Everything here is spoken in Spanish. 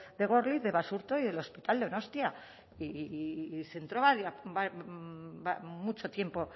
de górliz de basurto y del hospital donostia y centró mucho tiempo